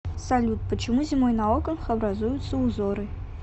салют почему зимой на окнах образуются узоры